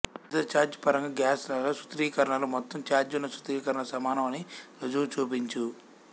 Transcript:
ఉచిత చార్జ్ పరంగా గాస్ లాలో సూత్రీకరణలు మొత్తం ఛార్జ్ ఉన్న సూత్రీకరణలు సమానం అని రుజువు చూపించు